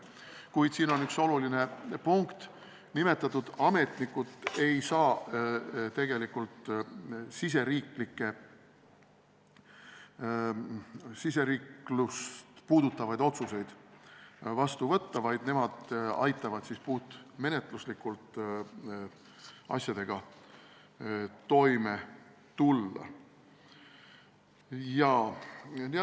Kuid siin on üks oluline punkt: nimetatud ametnikud ei saa meie riiklust puudutavaid otsuseid vastu võtta, vaid aitavad puhtmenetluslikult asjadega toime tulla.